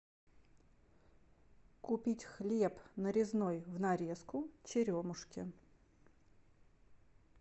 купить хлеб нарезной в нарезку черемушки